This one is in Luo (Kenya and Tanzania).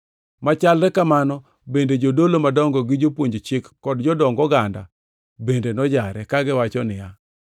Machalre kamano bende, jodolo madongo gi jopuonj chik kod jodong oganda bende nojare, kagiwacho niya,